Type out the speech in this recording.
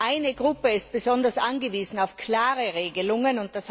Eine Gruppe ist besonders angewiesen auf klare Regelungen.